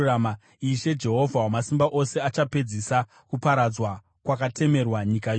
Ishe, Jehovha Wamasimba Ose achapedzisa kuparadzwa kwakatemerwa nyika yose.